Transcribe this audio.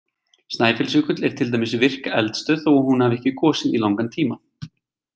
Snæfellsjökull er til dæmis virk eldstöð þó hún hafi ekki gosið í langan tíma.